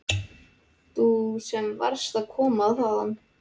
Þú sem varst að koma þaðan.